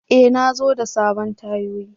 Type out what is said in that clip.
E! Na zo da sabon tayoyi.